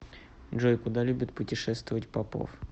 джой куда любит путешествовать попов